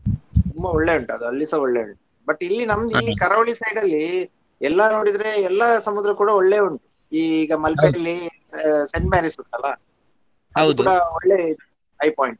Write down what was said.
ತುಂಬ ಒಳ್ಳೆ ಉಂಟು ಅದ್ ಅಲ್ಲಿಸ ಒಳ್ಳೆ ಉಂಟು but ಇಲ್ಲಿ ಇಲ್ಲಿ ಕರಾವಳಿ side ಅಲ್ಲಿ ಎಲ್ಲಾ ನೋಡಿದ್ರೆ ಎಲ್ಲಾ ಸಮುದ್ರ ಕೂಡಾ ಒಳ್ಳೆ ಉಂಟು ಈಗ Saint Mary's ಉಂಟಲ್ಲ ಒಳ್ಳೇ eye point .